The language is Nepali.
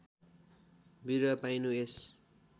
बिरुवा पाइनु यस